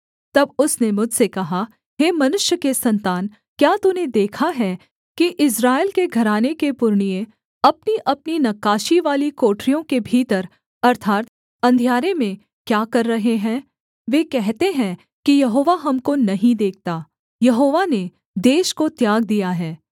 तब उसने मुझसे कहा हे मनुष्य के सन्तान क्या तूने देखा है कि इस्राएल के घराने के पुरनिये अपनीअपनी नक्काशीवाली कोठरियों के भीतर अर्थात् अंधियारे में क्या कर रहे हैं वे कहते हैं कि यहोवा हमको नहीं देखता यहोवा ने देश को त्याग दिया है